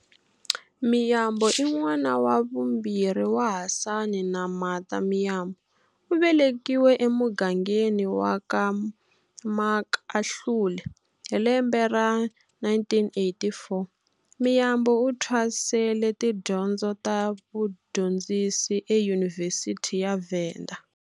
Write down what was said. Miyambo i n'wana wa vumbirhi wa Hasani na Martha Miyambo, u velekiwile emugangeni wa ka Makahlule hi lembe ra 1984. Miyambo u thwasele tidyondzo ta vu dyondzisi eYunivhesiti ya Venda.